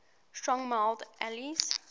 strong mild ales